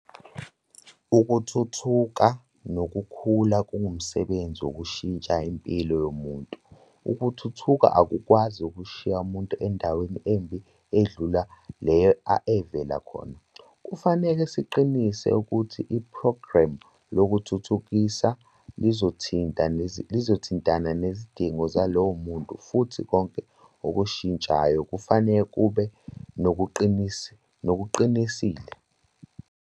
Ukuthuthuka nokukhula kungumsebenzi wokushintsha impilo yomuntu. Ukuthuthuka akukwazi ukushiya umuntu endaweni embi edlula leyo evela khona. Kufanele siqinise ukuthi iphrogramu lokuthuthukisa lizothintana nezidingo zalowo muntu futhi konke okushintshayo kufanele kube nokuqinisile.